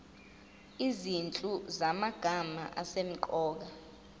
izinhlu zamagama asemqoka